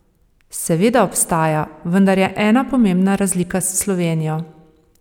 Seveda obstaja, vendar je ena pomembna razlika s Slovenijo.